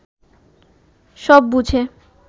সব বুঝে